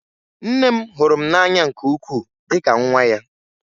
Nne m hụrụ m n'anya nke ukwuu dị ka nwa ya